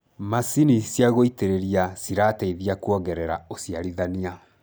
macinĩ cia gũitĩrĩria cirateithia kuongerera uciarithanĩa